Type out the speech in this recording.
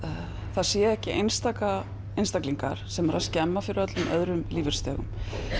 það séu ekki einstaka einstaklingar sem eru að skemma fyrir öðrum lífeyrisþegum